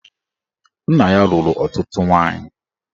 Nna ya lụrụ ọtụtụ nwaanyị